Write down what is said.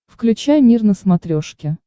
включай мир на смотрешке